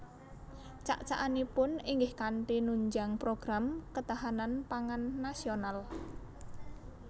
Cak cakanipun inggih kanthi nunjang program ketahanan pangan nasional